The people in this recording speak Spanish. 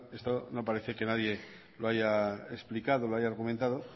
bueno esto no parece que nadie lo haya explicado lo haya comentado